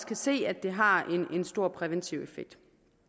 kan se at det har en stor præventiv effekt